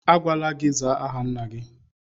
A gwala gị zaa aha nna gị!